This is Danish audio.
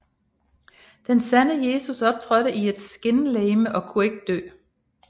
Den sande Jesus optrådte i et skinlegeme og kunne ikke dø